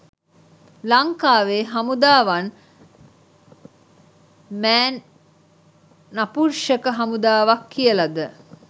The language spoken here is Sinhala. ලංකාවේ හමුදාව වන් මෑන් නපුන්ෂක හමුදාවක් කියලද?